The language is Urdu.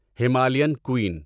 ہمالیان قُین